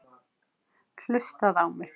Hlustaðu á mig!